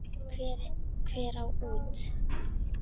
Hver á út?